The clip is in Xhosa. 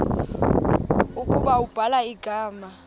ukuba ubhala igama